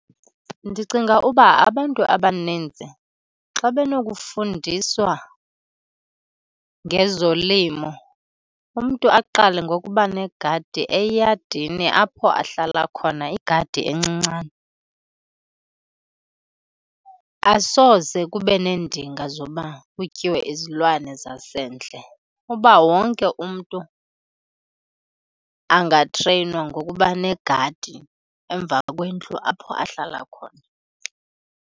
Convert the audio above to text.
Ndicinga uba abantu abaninzi xa benokufundiswa ngezolimo, umntu aqale ngokuba negadi eyadini apho ahlala khona, igadi encincane, asoze kube neendinga zoba kutyiwe izilwane zasendle. Uba wonke umntu angatreyinwa ngokuba negadi emva kwendlu apho ahlala khona.